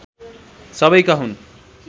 सबैका हुन्